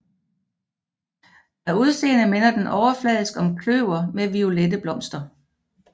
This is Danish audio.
Af udseende minder den overfladisk om kløver med violette blomster